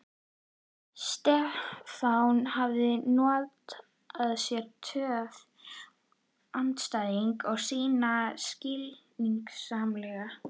Stefán hafði notað sér töf andstæðings síns skynsamlega.